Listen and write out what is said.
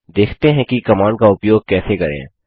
देखते हैं कि कमांड का उपयोग कैसे करें